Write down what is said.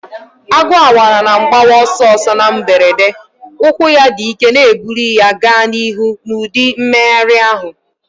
Agu awara na mgbawa ọsọ ọsọ na mberede, ụkwụ ya dị ike na-ebuli ya gaa n'ihu n'ụdị mmegharị ahụ.